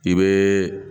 I bɛ